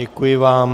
Děkuji vám.